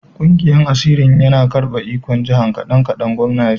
Kungiyan asirin yana karbe ikon jihar kadan-kadan, gwamnan ya ce.